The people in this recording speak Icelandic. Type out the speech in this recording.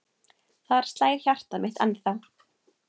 Þar slær hjartað mitt ennþá.